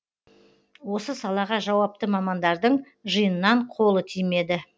осы салаға жауапты мамандардың жиыннан қолы тимеді